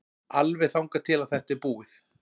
Alveg þangað til að þetta er búið.